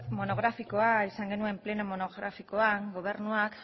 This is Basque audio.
monografikoa izan genuen pleno monografikoan gobernuak